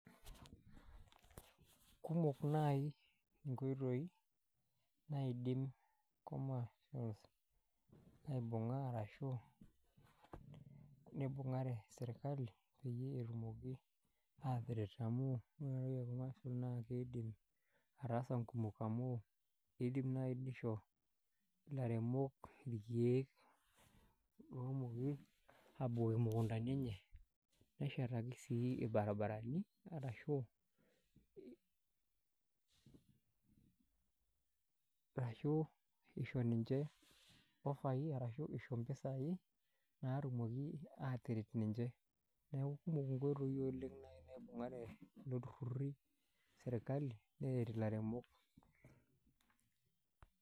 Kumok naaji inkoitoi naidim commece aibunga arashu nibungare serkali peyie etumoki aataret amu wore ena toki e commece naa kiidim ataasa inkumok. Amu kiidim nai nisho ilaremok irkiek lomooki aabukoki imukundani enye, neshetaki sii ilbarabarani arashu isho ninche ofai arashu impisai, naatumoki aataret ninche. Neeku kumok inkoitoi oleng' nai naibungare kulo turruri serkali neret ilairemok.